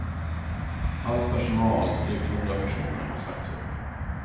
All personal, drygt hundra personer, har sagts upp.